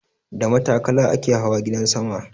Da matakala ake hawa gidan sama.